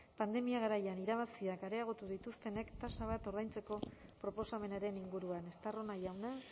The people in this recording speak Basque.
pandemia garaian irabaziak areagotu dituztenek tasa bat ordaintzeko proposamenaren inguruan estarrona jauna